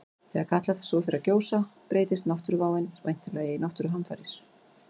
Þegar Katla svo fer að gjósa breytist náttúruváin væntanlega í náttúruhamfarir.